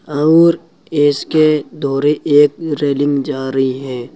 आउर इसके दोरे एक रेलिंग जा रही है।